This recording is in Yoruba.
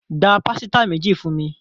Gbà pàsìta méjì fúnmi.